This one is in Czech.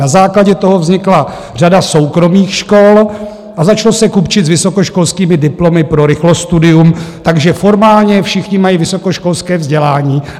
Na základě toho vznikla řada soukromých škol a začalo se kupčit s vysokoškolskými diplomy pro rychlostudium, takže formálně všichni mají vysokoškolské vzdělání.